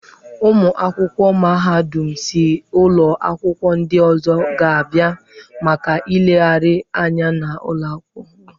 Ụmụ akwụkwọ mahadum si ụlọ akwụkwọ ndị ọzọ ga-abịa maka nlegharị anya n'ụlọ akwụkwọ m.